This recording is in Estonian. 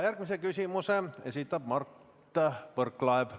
Järgmise küsimuse esitab Mart Võrklaev.